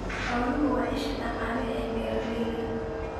Xooluhu waa isha dhaqaale ee beeralayda.